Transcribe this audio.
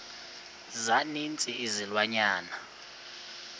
za ninzi izilwanyana